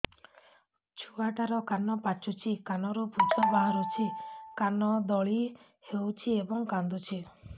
ଛୁଆ ଟା ର କାନ ପାଚୁଛି କାନରୁ ପୂଜ ବାହାରୁଛି କାନ ଦଳି ହେଉଛି ଏବଂ କାନ୍ଦୁଚି